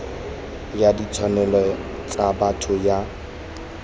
ya ditshwanelo tsa botho ya